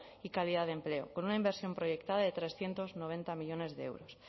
y calidad de empleo con una inversión proyectada de trescientos noventa millónes de euros